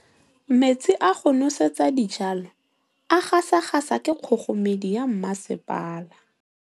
Metsi a go nosetsa dijalo a gasa gasa ke kgogomedi ya masepala.